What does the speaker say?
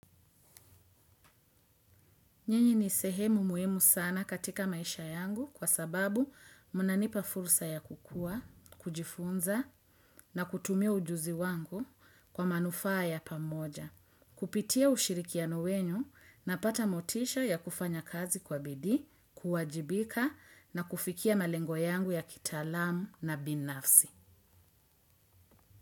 Nyinyi ni sehemu muhimu sana katika maisha yangu kwa sababu munanipa fursa ya kukua, kujifunza na kutumia ujuzi wangu kwa manufaa ya pamoja. Kupitia ushirikiano wenu na pata motisha ya kufanya kazi kwa bidii, kuwajibika na kufikia malengo yangu ya kitaalam na binafsi.